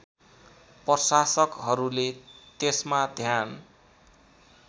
प्रशासकहरूले त्यसमा ध्यान